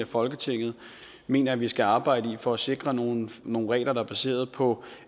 folketinget mener at vi skal arbejde med for at sikre nogle nogle regler der er baseret på